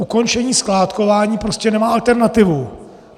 Ukončení skládkování prostě nemá alternativu.